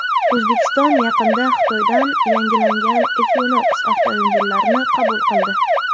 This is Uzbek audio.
O‘zbekiston yaqinda Xitoydan yangilangan Equinox avtomobillarini qabul qildi.